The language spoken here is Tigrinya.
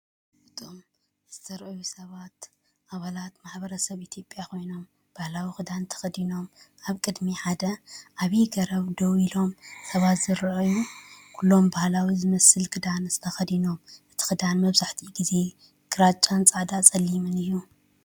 እቶም ዝተራእዩ ሰባት ኣባላት ማሕበረሰብ ኢትዮጵያ ኮይኖም፡ ባህላዊ ክዳን ተኸዲኖም ኣብ ቅድሚ ሓደ ዓቢ ገረብ ደው ኢሎም። ሰባት ይረኣዩ፣ ኩሎም ባህላዊ ዝመስል ክዳን ተኸዲኖም። እቲ ክዳን መብዛሕትኡ ግዜ ግራጭ፡ ጻዕዳን ጸሊምን እዩ።